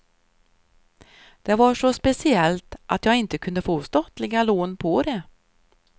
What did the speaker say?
Det var så speciellt att jag inte kunde få statliga lån på det.